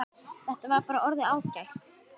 Þetta var bara orðið ágætt.